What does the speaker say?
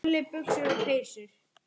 Hlátur og meiri hlátur.